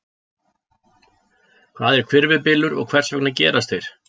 Hvað er hvirfilbylur og hvers vegna gerast þeir?